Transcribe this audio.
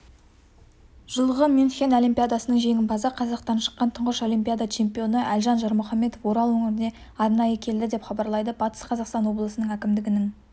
жылғы мюнхен олимпиадасының жеңімпазы қазақтан шыққан тұңғыш олимпиада чемпионы әлжан жармұхамедов орал өңіріне арнайы келді деп хабарлайды батыс қазақстан облысы әкімдігінің